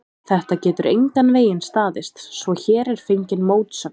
Þetta getur engan veginn staðist, svo hér er fengin mótsögn.